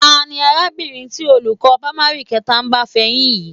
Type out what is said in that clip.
Ta ni arábìnrin tí olùkọ́ pámárì kẹta ń bá fẹyín yìí?